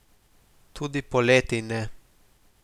Tudi poleti ne.